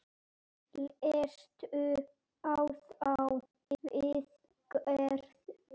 Leistu á þá viðgerð?